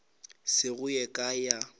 se go ye kae ya